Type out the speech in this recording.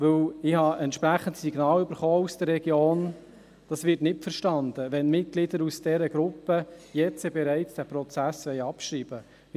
Ich habe entsprechende Signale aus der Region erhalten, dass nicht verstanden wird, wenn Mitglieder aus dieser Gruppe den Prozess jetzt bereits abschreiben wollen.